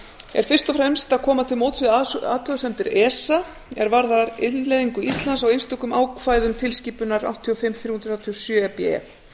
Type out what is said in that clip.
er fyrst og að koma til móts við athugasemdir esa er varða innleiðingu íslands á einstökum ákvæðum tilskipunar áttatíu og fimm þrjú hundruð þrjátíu og sjö e b e